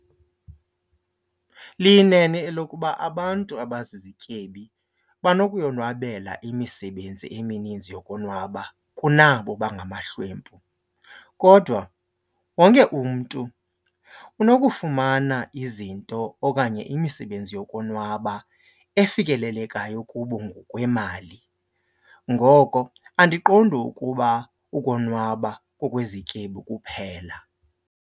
Liyinene elokuba abantu abazizityebi banokuyonwabela imisebenzi emininzi yokonwaba kunabo bangamahlwempu. Kodwa wonke umntu unokufumana izinto okanye imisebenzi yokonwaba efikelelekayo kubo ngokwemali. Ngoko andiqondi ukuba ukonwaba kokwezityebi kuphela.